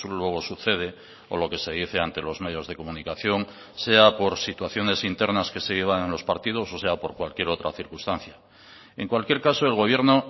luego sucede o lo que se dice ante los medios de comunicación sea por situaciones internas que se llevan en los partidos o sea por cualquier otra circunstancia en cualquier caso el gobierno